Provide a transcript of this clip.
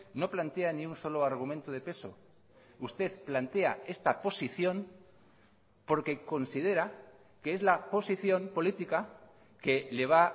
no plantea ni un solo argumento de peso usted plantea esta posición porque considera que es la posición política que le va